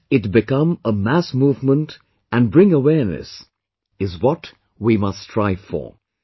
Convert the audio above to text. That it become a mass movement and bring awareness is what we must strive for